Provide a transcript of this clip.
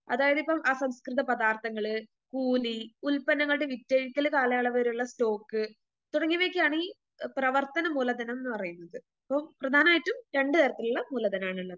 അതായതിപ്പം അസംസ്‌കൃത പദാർത്ഥങ്ങള്, കൂലി, ഉൽപ്പന്നങ്ങളുടെ വിറ്റഴിക്കല് കാലയളവ് വരെയുള്ള സ്റ്റോക്ക് തുടങ്ങിയവയ്‌ക്കാണ് പ്രവർത്തന മൂലധനംന്ന് പറയുന്നത് ഇപ്പം പ്രധാനായിട്ടും രണ്ട് തരത്തിലുള്ള മൂലധനമാണുള്ളത്.